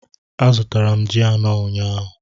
Azụtara m ji anọ ụnyahụ